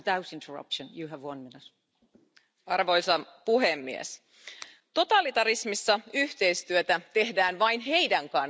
Arvoisa puhemies, totalitarismissa yhteistyötä tehdään vain niiden kanssa, jotka ovat samaa mieltä.